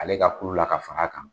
Ale ka kulu la ka fara kan.